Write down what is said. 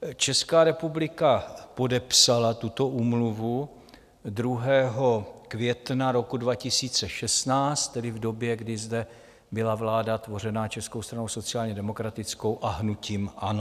Česká republika podepsala tuto úmluvu 2. května roku 2016, tedy v době, kdy zde byla vláda tvořená Českou stranou sociálně demokratickou a hnutím ANO.